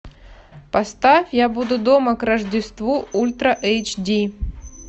поставь я буду дома к рождеству ультра эйч ди